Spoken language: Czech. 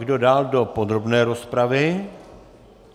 Kdo dál do podrobné rozpravy?